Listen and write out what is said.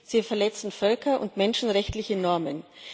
Sie verletzen völker und menschenrechtliche Normen.